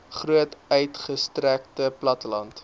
groot uitgestrekte platteland